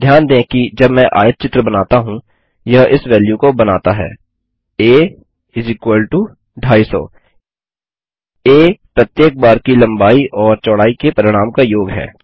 ध्यान दें कि जब मैं आयतचित्र बनाता हूँ यह इस वेल्यू को बनाता है a250 आ प्रत्येक बार की लम्बाई ओर चौड़ाई के परिणाम का योग है